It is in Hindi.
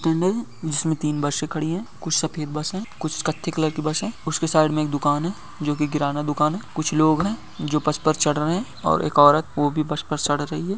स्टैंड है इसमे तीन बसे खड़ी है कुछ सफ़ेद बस है कुछ कत्थई कलर की बस है उसके साइड में एक दुकान है जो की किराना दुकान है कुछ लोग है जो बस पर चढ़ रहे है और एक औरत वो भी बस पर चढ़ रही हैं।